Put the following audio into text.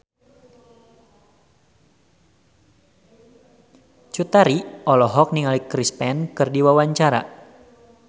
Cut Tari olohok ningali Chris Pane keur diwawancara